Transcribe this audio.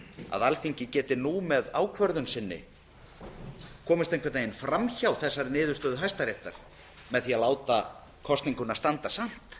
að alþingi geti nú með ákvörðun sinni komist einhvern veginn fram hjá þessari niðurstöðu hæstaréttar með því að láta kosninguna standa samt